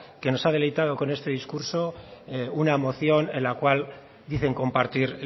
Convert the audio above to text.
que nos ha deleitado con este discurso una moción en la cual dicen compartir